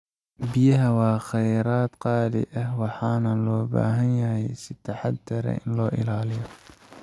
Biyaha waa kheyraad qaali ah, waxaana loo baahan yahay in si taxaddar leh loo ilaaliyo.